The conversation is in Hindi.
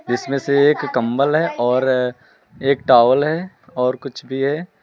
इसमें से एक कंबल है और एक टॉवल है और कुछ भी है।